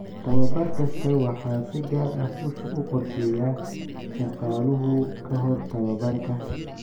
Tababar kasta waxaa si gaar ah u qorsheeya shaqaaluhu ka hor tababarka.